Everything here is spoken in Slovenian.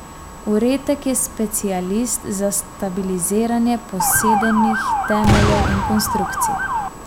Uretek je specialist za stabiliziranje posedenih temeljev in konstrukcij.